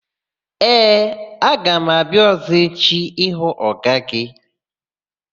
Ee, aga m abịa ọ̀zọ́ echi ịhụ ọga gị.